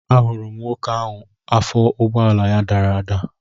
Ahụrụ m nwoke ahụ afọ ụgbọala ya dara ada